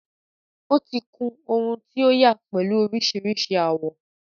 Ó ti kun ohun to yà pẹ̀lú oríṣiríṣi àwọ.